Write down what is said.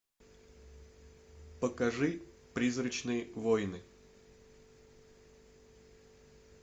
покажи призрачные войны